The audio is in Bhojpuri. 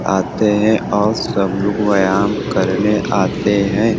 आते हैं और सब लोग व्याम करने आते हैं।